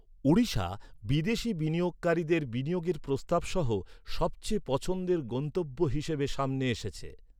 ওড়িশা বিদেশী বিনিয়োগকারীদের বিনিয়োগের প্রস্তাব সহ সবচেয়ে পছন্দের গন্তব্য হিসাবে সামনে এসেছে।